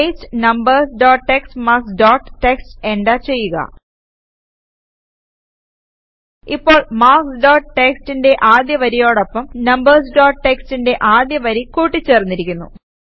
paste numbers dot TXT marks dot TXT enter ചെയ്യുക ഇപ്പോൾ marks dot txtന്റെ ആദ്യ വരിയോടൊപ്പം നംബർസ് ഡോട്ട് txtന്റെ ആദ്യ വരി കൂട്ടി ചേർന്നിരിക്കുന്നു